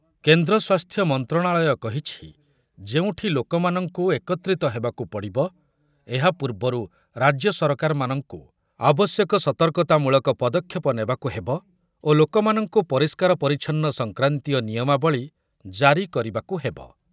କେନ୍ଦ୍ର ସ୍ୱାସ୍ଥ୍ୟ ମନ୍ତ୍ରଣାଳୟ କହିଛି, ଯେଉଁଠି ଲୋକମାନଙ୍କୁ ଏକତ୍ରିତ ହେବାକୁ ପଡ଼ିବ, ଏହାପୂର୍ବରୁ ରାଜ୍ୟ ସରକାରମାନଙ୍କୁ ଆବଶ୍ୟକ ସତର୍କତାମୂଳକ ପଦକ୍ଷେପ ନେବାକୁ ହେବ ଓ ଲୋକମାନଙ୍କୁ ପରିଷ୍କାର ପରିଚ୍ଛନ୍ନ ସଂକ୍ରାନ୍ତୀୟ ନିୟମାବଳୀ ଜାରି କରିବାକୁ ହେବ ।